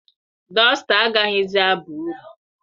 Dọsta agaghịzi aba uru.